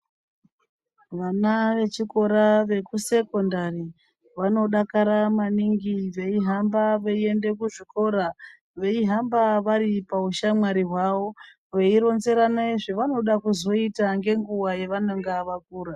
Vana vechikora vekusekondari vanodakara maningi veihamba veiende kuzvikora, veihamba vari paushamwari hwavo. Vei ronzerane zvavanoda kuzoita ngenguva yavanonga vakura.